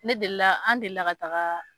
Ne deli la, an delila ka taga